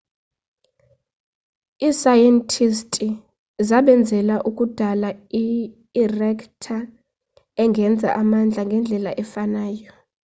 iisayentisti zasebenzela ukudala iri-ekta engenza amandla ngendlela efanayo